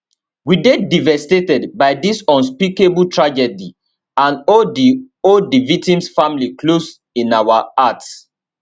we dey devastated by dis unspeakable tragedy and hold di hold di victims families close in our hearts